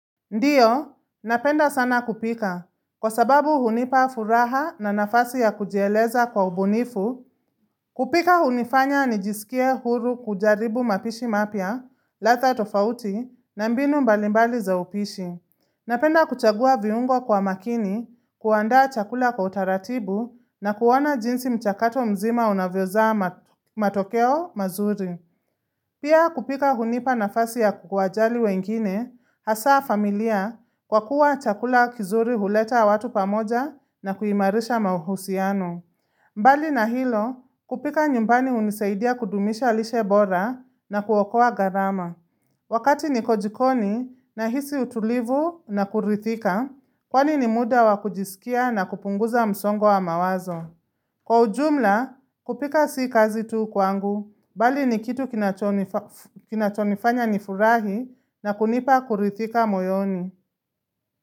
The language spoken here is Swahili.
Ndiyo, napenda sana kupika. Kwa sababu hunipa furaha na nafasi ya kujieleza kwa ubunifu, kupika hunifanya ni jisikie huru kujaribu mapishi mapya, ladhaa tofauti, na mbinu mbalimbali za upishi. Napenda kuchagua viungo kwa makini, kuanda chakula kwa utaratibu, na kuona jinsi mchakato mzima unavyozaa matokeo mazuri. Pia kupika hunipa nafasi ya kuwajali wengine, hasa familia, kwa kuwa chakula kizuri huleta watu pamoja na kuimarisha mahusiano. Mbali na hilo, kupika nyumbani hunisaidia kudumisha lishe bora na kuokoa gharama. Wakati nikojikoni na hisi utulivu na kuridhika, kwani ni muda wa kujisikia na kupunguza msongo wa mawazo. Kwa ujumla, kupika sii kazi tu kwangu, bali ni kitu kinachonifanya nifurahi na kunipa kuridhika moyoni.